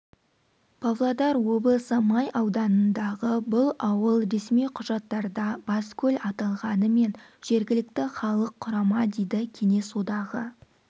павлодар облысы май ауданындағы бұл ауыл ресми құжаттарда баскөл аталғанымен жергілікті халық құрама дейді кеңес одағы